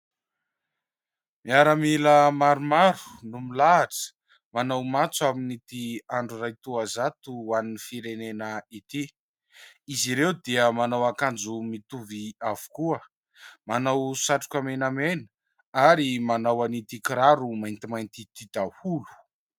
Miaramila maromaro no milahatra manao matso amin'ity andro iray toazato ho an'ny firenena ity, izy ireo dia manao ankanjo mitovy avokoa, manao satroka menamena ary manao an' ity kiraro maintimainty ity daholo.